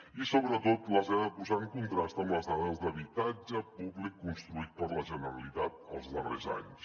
i sobretot les he de posar en contrast amb les dades d’habitatge públic construït per la generalitat els darrers anys